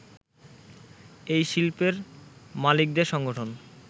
এই শিল্পের মালিকদের সংগঠন